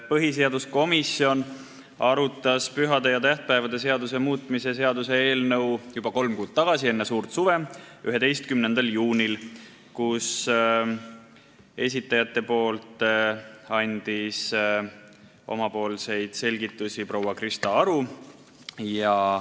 Põhiseaduskomisjon arutas pühade ja tähtpäevade seaduse muutmise seaduse eelnõu juba kolm kuud tagasi, enne suurt suve, 11. juunil, kui esitajate nimel andis selgitusi proua Krista Aru.